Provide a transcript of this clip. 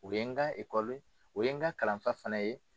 O ye n ka o ye n ka kalanfa fana ye.